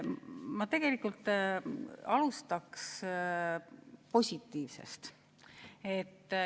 Ma tegelikult alustaks positiivsest.